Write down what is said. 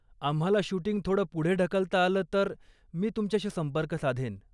आम्हाला शूटिंग थोडं पुढे ढकलता आलं तर मी तुमच्याशी संपर्क साधेन.